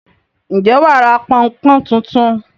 Ǹjẹ́ wà á ra pọn-n-pọ́n tuntun?